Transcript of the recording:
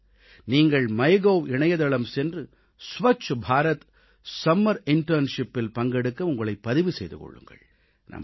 நீங்கள் மைகோவ் இணையதளம் சென்று ஸ்வச் பாரத் கோடைக்கால உள்ளுறைப் பயிற்சியில் ஸ்வச் பாரத் சம்மர் இன்டர்ன்ஷிப் பங்கெடுக்க உங்களைப் பதிவு செய்து கொள்ளுங்கள்